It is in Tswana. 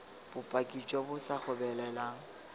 bopaki jo bo sa gobeleleng